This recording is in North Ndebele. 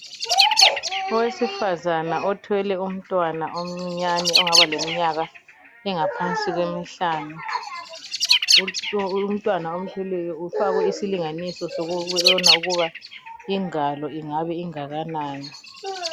Owesifazana othwele umntwana omncinyane ongaba leminyaka engaphansi kwemihlanu. Umntwana amthweleyo ufakwe isilinganiso sokubona ukubana ingalo ingabe ingakanani.